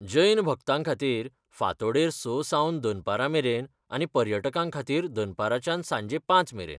जैन भक्तांखातीर, फांतोडेर स सावन दनपरा मेरेन आनी पर्यटकांखातीर दनपाराच्यान सांजे पांच मेरेन.